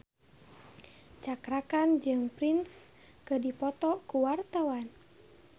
Cakra Khan jeung Prince keur dipoto ku wartawan